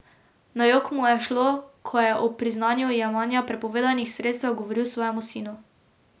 Na jok mu je šlo, ko je o priznanju jemanja prepovedanih sredstev govoril svojemu sinu.